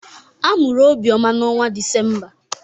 A mụrụ Obioma n'ọnwa Disemba.